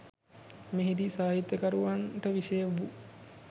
මෙහි දී සාහිත්‍යකරුවන්ට විෂය වූ